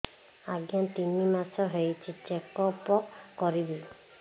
ଆଜ୍ଞା ତିନି ମାସ ହେଇଛି ଚେକ ଅପ କରିବି